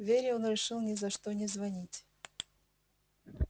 вере он решил ни за что не звонить